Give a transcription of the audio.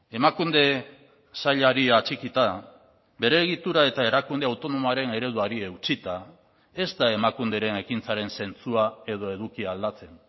emakunde sailari atxikita bere egitura eta erakunde autonomoaren ereduari eutsita ez da emakunderen ekintzaren zentzua edo edukia aldatzen